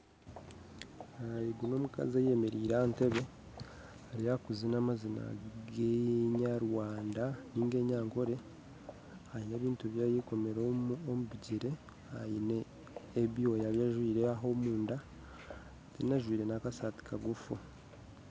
Ogu n'omukazi ayemereire aha ntebbe ari aha kuziina amaziina g'ekinyarwanda niga ag'ekinyankore aine ebintu ebi ayekomire omu bigyere aine ebyoya ebi ajwire aho omunda kandi ajwire n'akasaati kaguufu